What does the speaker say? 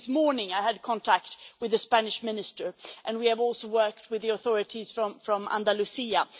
Only this morning I had contact with the Spanish Minister. We have also worked with the authorities from Andalucía.